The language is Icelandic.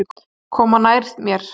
Koma nær mér.